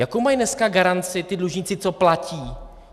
Jakou mají dneska garanci ti dlužníci, co platí?